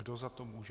Kdo za to může?